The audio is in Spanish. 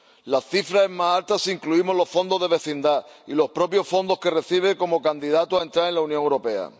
La cifra es más alta si incluimos los fondos de vecindad y los propios fondos que recibe como candidato a entrar en la Unión Europea.